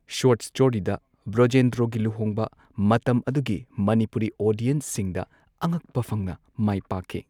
Short ꯁ꯭ꯇꯣꯔꯤꯗ ꯕ꯭ꯔꯣꯖꯦꯟꯗ꯭ꯔꯣꯒꯤ ꯂꯨꯍꯣꯡꯕ ꯃꯇꯝ ꯑꯗꯨꯒꯤ ꯃꯅꯤꯄꯨꯔꯤ ꯑꯣꯗꯤꯌꯟꯁꯁꯤꯡꯗ ꯑꯉꯛꯄ ꯐꯪꯅ ꯃꯥꯏ ꯄꯥꯛꯈꯤ꯫